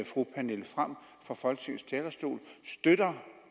fru pernille frahm fra folketingets talerstol støtter